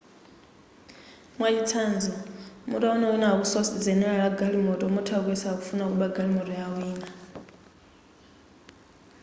mwachitsanzo mutawona wina akuswa zenera la galimoto mutha kuyesa akufuna kuba galimoto ya wina